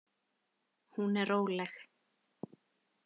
Hún er róleg.